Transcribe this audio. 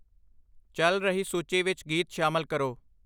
ਚੱਲ ਰਹੀ ਸੂਚੀ ਵਿੱਚ ਗੀਤ ਸ਼ਾਮਲ ਕਰੋ